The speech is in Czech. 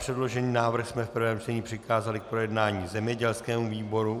Předložený návrh jsme v prvém čtení přikázali k projednání zemědělskému výboru.